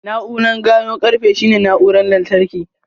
Na'urar gano ƙarfe shine na'urar lantarki.